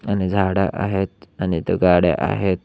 आणि झाड आहेत आणि इथं गाड्या आहेत.